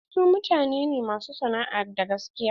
Su mutane ne masu sana'a da gaskiya.